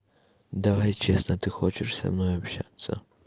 давай честно ты хочешь со мной общаться